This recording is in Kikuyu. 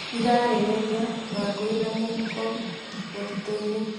Irarĩrĩria: Wangũi na mũhuko mũtitũ-inĩ